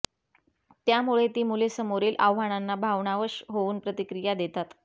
त्यामुळे ती मुले समोरील आव्हानांना भावनावश होऊन प्रतिक्रिया देतात